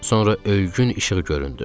Sonra öygün işıq göründü.